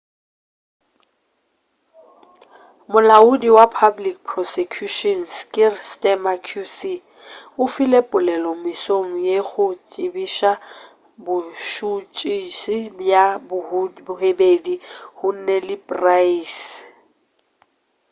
molaodi wa public prosecutions kier starmer qc o file polelo mesong ye go tsebiša bošotšisi bja bobedi huhne le pryce